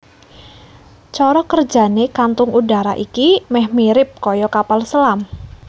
Cara kerjané kantung udara iki meh mirip kaya kapal selam